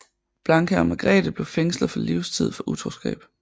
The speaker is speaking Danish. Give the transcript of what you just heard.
Blanka og Margrete blev fængslet for livstid for utroskab